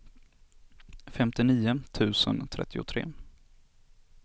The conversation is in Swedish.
femtionio tusen trettiotre